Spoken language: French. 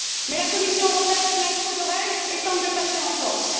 Mais la Commission européenne fait la sourde oreille et tente de passer en force.